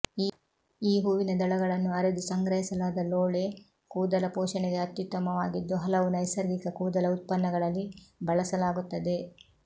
ಈ ಹೂವಿನ ದಳಗಳನ್ನು ಅರೆದು ಸಂಗ್ರಹಿಸಲಾದ ಲೋಳೆ ಕೂದಲ ಪೋಷಣೆಗೆ ಅತ್ಯುತ್ತಮವಾಗಿದ್ದು ಹಲವು ನೈಸರ್ಗಿಕ ಕೂದಲ ಉತ್ಪನ್ನಗಳಲ್ಲಿ ಬಳಸಲಾಗುತ್ತದೆ